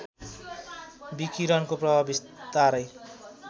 विकिरणको प्रभाव बिस्तारै